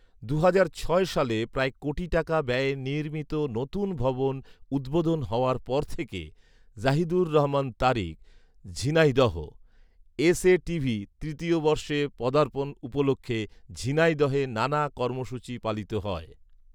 দুহাজার ছয় সালে প্রায় কোটি টাকা ব্যয়ে নির্মিত নতুন ভবন উদ্বোধন হওয়ার পর থেকে Zahidur Rahman Tariq, Jhenaidah, S A TV তৃতীয় বর্ষে পদার্পণ উপলক্ষে ঝিনাইদহে নানা কর্মসূচী পালিত হয়